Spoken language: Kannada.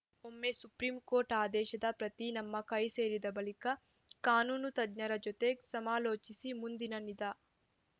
ಒಮ್ಮೆ ಸುಪ್ರೀಂಕೋರ್ಟ್‌ ಆದೇಶದ ಪ್ರತಿ ನಮ್ಮ ಕೈಸೇರಿದ ಬಳಿಕ ಕಾನೂನು ತಜ್ಞರ ಜೊತೆ ಸಮಾಲೋಚಿಸಿ ಮುಂದಿನ ನಿಧ